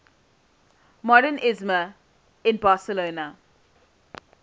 modernisme in barcelona